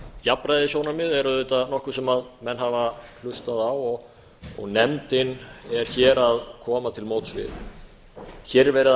jafnræðissjónarmið er auðvitað nokkuð sem menn hafa hlustað á og nefndin er hér að koma til móts við hér er verið að